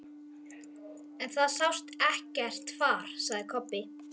En það sást ekkert far, sagði Kobbi.